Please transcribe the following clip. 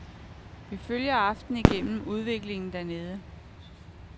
Vi følger aftenen igennem udviklingen dernede.